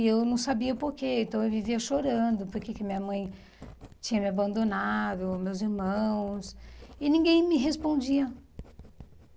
E eu não sabia por quê, então eu vivia chorando porque que minha mãe tinha me abandonado, meus irmãos, e ninguém me respondia.